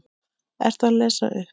Ertu að lesa upp?